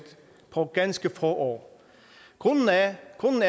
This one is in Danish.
på ganske få år grunden er